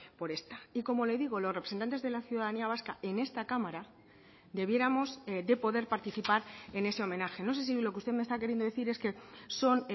por esta y como le digo los representantes de la ciudadanía vasca en esta cámara debiéramos de poder participar en ese homenaje no sé si lo que usted me está queriendo decir es que son